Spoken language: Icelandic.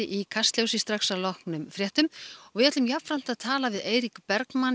í Kastljósi að loknum fréttum og við munum jafnframt tala við Eirík Bergmann